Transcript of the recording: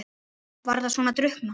Var það svona að drukkna?